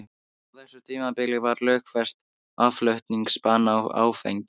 Á þessu tímabili var lögfest aðflutningsbann á áfengi.